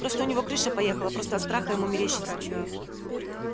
просто у него крыша поехала просто от страха ему мерещится